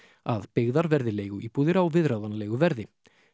að byggðar verði leiguíbúðir á viðráðanlegu verði